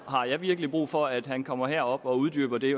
har jeg virkelig brug for at han kommer herop og uddyber det